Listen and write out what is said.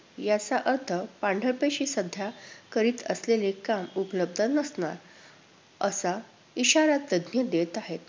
याचा अर्थ पांढरपेशी सध्या करीत असलेले काम उपलब्ध नसणार असा इशारा तज्ञ देत आहेत.